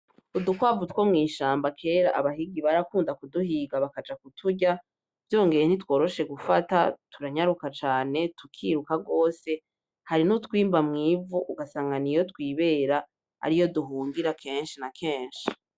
Udukwavu two mwishamba kera bahigi barakunda kuduhiga , bakaja kuturya , vyongeye ntitworoshe gufata ,turanyaruka cane tukiruka gose , hari nutwimba mwivu ugasanga niyo twibera ariyo duhungira, kenshi na kenshi.